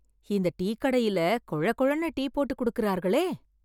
இந்த டீ கடையில கொழ கொழன்னு டீ போட்டு கொடுக்கிறார்களே